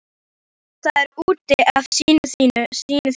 Það er út af syni þínum.